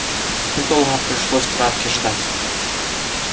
недолго пришлось травке ждать